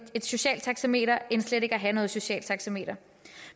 et socialt taxameter end slet ikke at have noget socialt taxameter